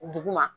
Dugu ma